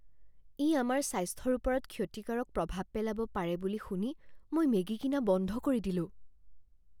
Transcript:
ই আমাৰ স্বাস্থ্যৰ ওপৰত ক্ষতিকাৰক প্ৰভাৱ পেলাব পাৰে বুলি শুনি মই মেগি কিনা বন্ধ কৰি দিলোঁ।